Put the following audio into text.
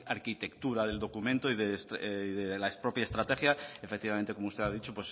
arquitectura del documento y de la propia estrategia efectivamente como usted ha dicho